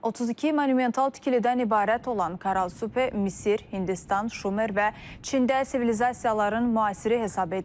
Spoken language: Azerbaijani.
32 monumental tikilidən ibarət olan Karal Super Misir, Hindistan, Şumer və Çində sivilizasiyaların müasiri hesab edilir.